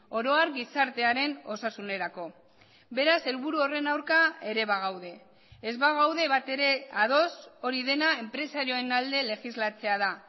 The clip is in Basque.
oro har gizartearen osasunerako beraz helburu horren aurka ere bagaude ez bagaude bat ere ados hori dena enpresarioen alde legislatzea da